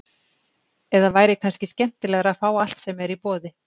Eða væri kannski skemmtilegra að fá allt sem er í boði?